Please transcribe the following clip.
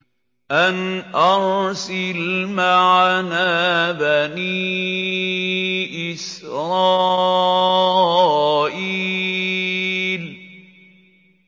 أَنْ أَرْسِلْ مَعَنَا بَنِي إِسْرَائِيلَ